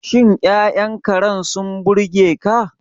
Shin Ya'yan Karen sun burge ka?